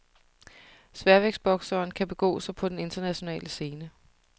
Sværvægtsbokseren kan begå sig på den internationale scene.